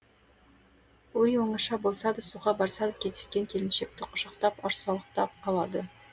үй оңаша болса да суға барса да кездескен келіншекті құшақтап арсалақтап қалады